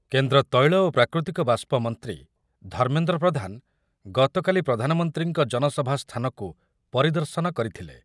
କେନ୍ଦ୍ର ତୈଳ ଓ ପ୍ରାକୃତିକ ବାଷ୍ପ ମନ୍ତ୍ରୀ ଧର୍ମେନ୍ଦ୍ର ପ୍ରଧାନ ଗତକାଲି ପ୍ରଧାନମନ୍ତ୍ରୀଙ୍କ ଜନସଭା ସ୍ଥାନକୁ ପରିଦର୍ଶନ କରିଥିଲେ ।